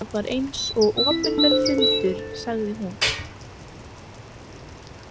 Það var eins og opinber fundur sagði hún.